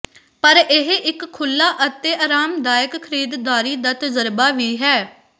ਪਰ ਇਹ ਇਕ ਖੁੱਲ੍ਹਾ ਅਤੇ ਆਰਾਮਦਾਇਕ ਖਰੀਦਦਾਰੀ ਦਾ ਤਜਰਬਾ ਵੀ ਹੈ